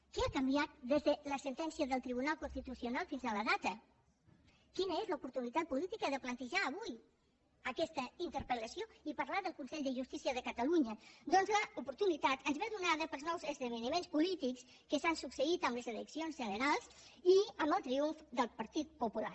què ha canviat des de la sentència del tribunal constitucional fins a la data quina és l’oportunitat política de plantejar avui aquesta interpel·lació i parlar del consell de justícia de catalunya doncs l’oportunitat ens ve donada pels nous esdeveniments polítics que s’han succeït amb les eleccions generals i amb el triomf del partit popular